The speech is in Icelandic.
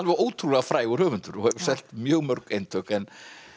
ótrúlega frægur höfundur hefur selt mjög mörg eintök en